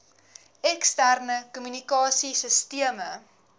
eksterne kommunikasie sisteme